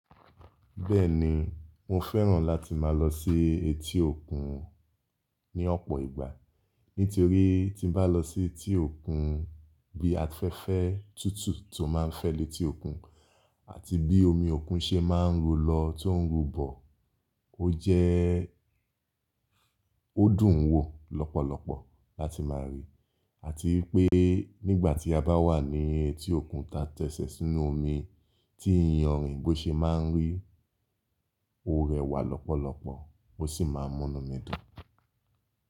Bẹ́ẹ̀ni, mo fẹ́ràn láti máa lọ sí etí òkun ní ọ̀pọ̀ ìgbà, nítorí tí n bá lọ sí etí òkun bí afẹ́fẹ́ tútù tó máa ń fẹ́ letí òkun àti bí omi òkun ṣe máa ń ru lọ tó ń rúbọ̀, ó jẹ́ ó dùn wo lọ́pọ̀lọpọ̀ láti máa rí, àti wipé nígbà tí a bá wà ní etí òkun tá tẹ́ṣẹ̀ sínú omi tí iyanrìn bó ṣe máa ń rí, ó rẹwà lọ́pọ̀lọpọ̀ ó sì máa ń múnú mi dùn.